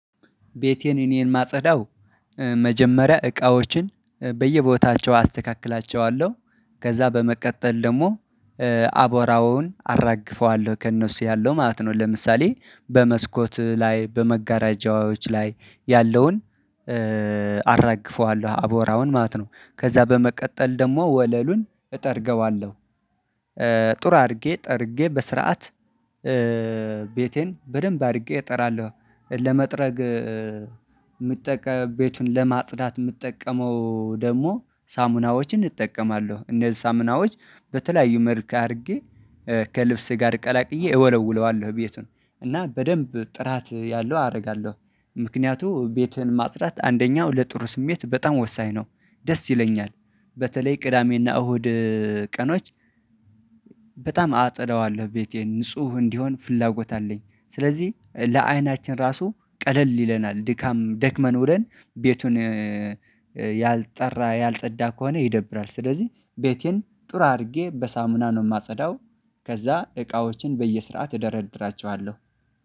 ቤቴን እኔ የማጸዳው መጀመሪያ እቃዎችን በየቦታቸው አስተካክላቸዋለሁ ከዛ በመቀጠል ደግሞ አቧራውን አራግፈዋለሁ ከእነሱ ያለው ማለት ነው። ለምሳሌ በመስኮት ላይ በመጋረጃዎች ላይ ያለውን አራግፈዋለሁ አቧራውን ማለት ነው። ከዛ በመቀጠል ደግሞ ወለሉን እጠርገዋለሁ። ጥሩ አድርጌ ጠርጌ በስርዓት ቤቴን በደንብ አድርጌ እጠራለሁ። ለመጥረግ ቤቱን ለማጽዳት የምጠቀመው ደግሞ ሳሙናዎችን እጠቀማለሁ እነዚህ ሳሙናዎች በተለያዩ መልከክ አድርጌ ከልብስህ ጋር ቀላቅዬ እወለውለዋለሁ ቤቱን እና በደንብ ጥራት ያለው አደርጋለሁ። ምክንያቱም ቤትህን ማጽዳት አንደኛው ለጥሩ ስሜት በጣም ወሳኝ ነው። ደስ ይለኛል። በተለይ ቅዳሜና እሁድ ቀኖች በጣም አጸደዋለሁ ቤቴን ንጹህ እንዲሆን ፍላጎት አለኝ። ስለዚህ ለአይናችን ራሱ ቀለል ይለናል ድካም ደክመን ውለን ቤቱን ያልጠራ ያልጸዳ ከሆነ ይደብራል። ስለዚህ ቤቴን ጥሩ አድርጌ በሳሙና ነው የማጸዳው። ከዛ እቃዎችን በየስርዓት እደረድራቸዋለሁ